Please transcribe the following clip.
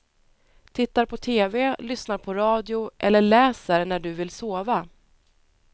Tittar på tv, lyssnar på radio eller läser när du vill sova.